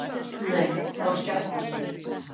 Nei þá skjátlast þér.